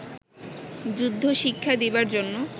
যুদ্ধশিক্ষা দিবার জন্য